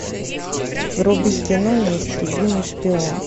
вруби кино неистребимый шпион